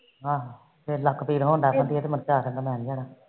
ਹਾ ਲੱਕ ਪੀੜ ਹੁੰਦਾ